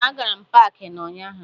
Ee, agara m na paakị ụnyaahụ